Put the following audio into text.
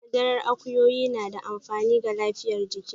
Madarar akuyoyi na da amfani ga lafiyar jiki.